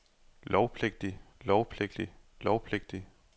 lovpligtig lovpligtig lovpligtig